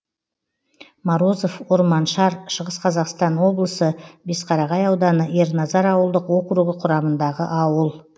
морозов орманшар шығыс қазақстан облысы бесқарағай ауданы ерназар ауылдық округі құрамындағы ауыл